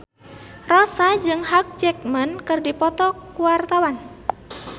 Rossa jeung Hugh Jackman keur dipoto ku wartawan